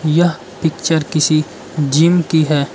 यह पिक्चर किसी जिम की है।